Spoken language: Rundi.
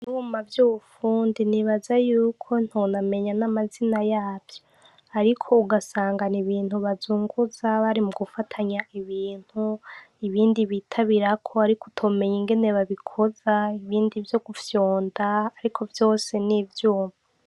Ibuma vy'upfundi nibaza yuko ntonamenya n'amazina yavyo, ariko ugasangana ibintu bazunguza bari mu gufatanya ibintu ibindi bitabirako, ariko utomenya ingene babikoza ibindi vyo gufyonda, ariko vyose n'ivyuma.